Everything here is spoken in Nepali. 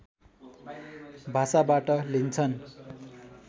भाषाबाट लिन्छन्